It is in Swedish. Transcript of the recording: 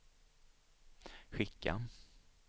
skicka